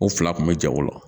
O fila kun be ja o bolo